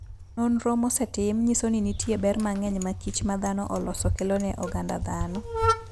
Nonro mosetim nyiso ni nitie ber mang'eny ma kich ma dhano oloso kelo ne oganda dhano.